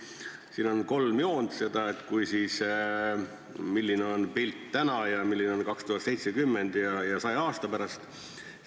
Siin on kolm joont: milline on pilt täna ja milline see on 2070 ja milline saja aasta pärast.